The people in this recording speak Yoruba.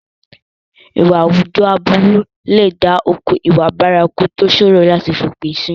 Ìwà àwùjọ aburú lè dá okùn ìwà bárakú tó ṣòro láti fi òpin sí.